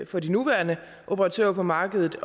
for de nuværende operatører på markedet